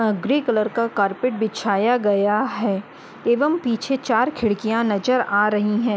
अ grey colour का carpet बिछाया गया है एवम पीछे चार खिड़कियां नजर आ रहीं हैं।